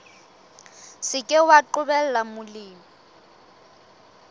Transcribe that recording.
se ke wa qobella molemi